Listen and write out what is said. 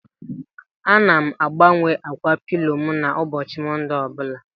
Ana m agbanwe ákwà pilo m n'ụbọchị Mọnde ọbụla